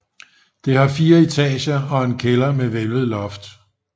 Det har fire etager og en kælder med hvælvet loft